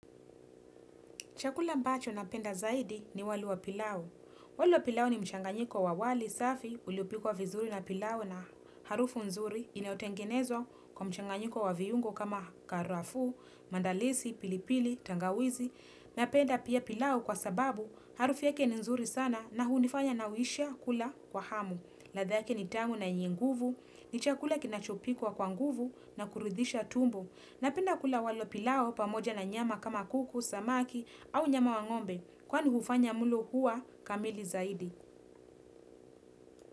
Chakula ambacho napenda zaidi ni wali wa pilau. Wali wa pilau ni mchanganyiko wa wali safi uliopikwa vizuri na pilau na harufu nzuri inayotengenezwa kwa mchanganyiko wa viungo kama karafu, mandalisi, pilipili, tangawizi. Napenda pia pilau kwa sababu harufu yake ni nzuri sana na hunifanya nauisha kula kwa hamu. Latha yake ni tamu na yenye nguvu, ni chakula kinachopikwa kwa nguvu na kuridhisha tumbo. Napenda kula wali wa pilau pamoja na nyama kama kuku, samaki au nyama wa ngombe kwani hufanya mlo kuwa kamili zaidi.